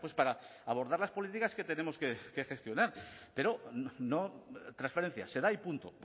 para abordar las políticas que tenemos que gestionar pero no transferencia se da y punto